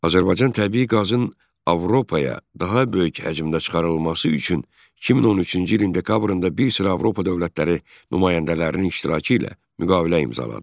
Azərbaycan təbii qazın Avropaya daha böyük həcmdə çıxarılması üçün 2013-cü ilin dekabrında bir sıra Avropa dövlətləri nümayəndələrinin iştirakı ilə müqavilə imzaladı.